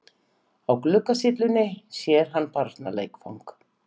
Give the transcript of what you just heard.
Á gluggasyllunni sér hann barnaleikfang.